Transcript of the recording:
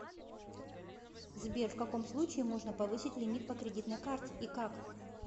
сбер в каком случае можно повысить лимит по кредитной карте и как